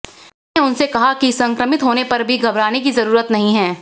मैंने उनसे कहा है कि संक्रमित होने पर भी घबराने की जरूरत नहीं है